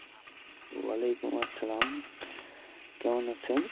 ওয়ালাইকুম আসসালাম , কেমন আছেন?